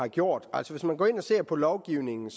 altså hvis man går ind og ser på lovgivningen